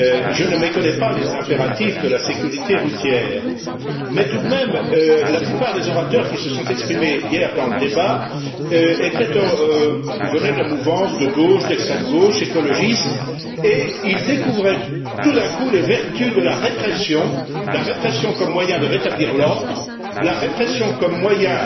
Je ne méconnais pas les impératifs de la sécurité routière mais, tout de même, la plupart des orateurs qui se sont exprimés hier dans le débat venaient des mouvances de gauche, d'extrême gauche, écologiste, et ils découvraient tout à coup les vertus de la répression la répression comme moyen de rétablir l'ordre, la répression comme moyen